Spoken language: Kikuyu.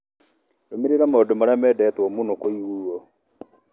Rũmĩrĩra maũndũ marĩa meendetwo mũno kũiguo